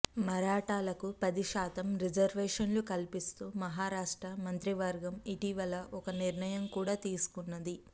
మరాఠాలకు పది శాతం రిజర్వేషన్లు కల్పిస్తూ మహారాష్ట్ర మంత్రివర్గం ఇటీవల ఒక నిర్ణయం కూడా తీసుకున్నది